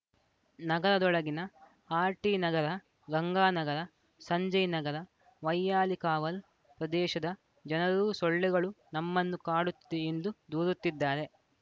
ನಗರದೊಳಗಿನ ಆರ್‌ಟಿನಗರ ಗಂಗಾನಗರ ಸಂಜಯ್‌ ನಗರ ವೈಯಾಲಿಕಾವಲ್‌ ಪ್ರದೇಶದ ಜನರೂ ಸೊಳ್ಳೆಗಳು ನಮ್ಮನ್ನು ಕಾಡುತ್ತಿದೆ ಎಂದು ದೂರುತ್ತಿದ್ದಾರೆ